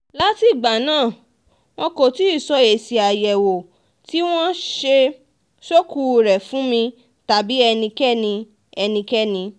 látìgbà náà wọn kò tí ì sọ èsì àyẹ̀wò tí wọ́n ṣe ṣókùú rẹ̀ fún mi tàbí ẹnikẹ́ni ẹnikẹ́ni